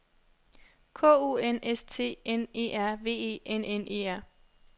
K U N S T N E R V E N N E R